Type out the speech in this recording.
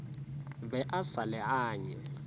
be a sa le anye